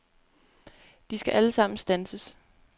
De skal alle sammen standses.